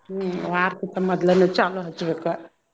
ಹ್ಮ್ ವಾರ್ಕ್ಕಿಂತ್ ಮದ್ಲನ ಚಾಲೂ ಹಚ್ಚ್ಬೇಕ.